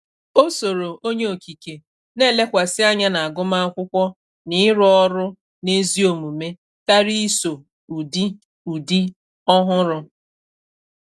Ọ sọrọ onye Okike na- elekwasi anya n' aguma akwụkwọ na iru ọrụ n' ezi omume karịa iso ụdị ụdị ọhụrụ.